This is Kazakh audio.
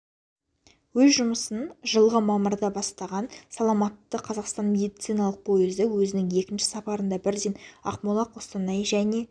өз жұмысын жылғы мамырда бастаған саламатты қазақстан медициналық пойызы өзінің екінші сапарында бірден ақмола қостанай және